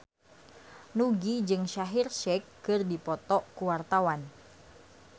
Nugie jeung Shaheer Sheikh keur dipoto ku wartawan